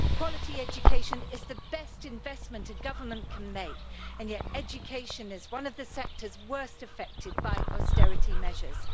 Quality education is the best investment a government can make and yet education is one of the sectors worst affected by austerity measures.